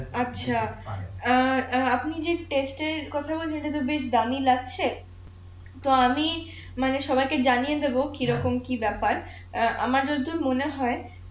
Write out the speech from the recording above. আচ্ছা অ্যাঁ অ্যাঁ আপনি যে এর কথা বললেন সেটা তো বেশ দামিই লাগছে তো আমি মানে সবাই কে জানিয়ে দেবো কিরকম কি ব্যাপ্যার আমার যতদূর মনে হয়